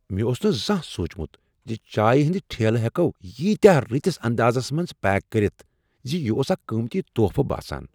مےٚ اوس نہٕ زانٛہہ سوٗچمت زِ چائے ہٕنٛدۍ ٹھیلہٕ ہیکو ییتیاہ رٔتِس اندازس منٛز پیک کٔرتھ زِ یہِ اوس اکھ قیمتی تحفہٕ باسان۔